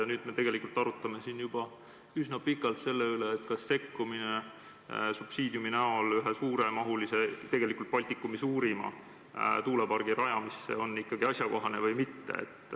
Ja nüüd me oleme siin juba üsna pikalt arutlenud selle üle, kas sekkumine subsiidiumi näol ühe suuremahulise, tegelikult Baltikumi suurima tuulepargi rajamisse on ikka asjakohane või mitte.